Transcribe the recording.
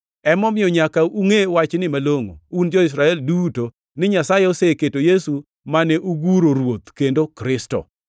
“Emomiyo nyaka ungʼe wachni malongʼo, un jo-Israel duto ni Nyasaye oseketo Yesu mane uguro Ruoth kendo Kristo.”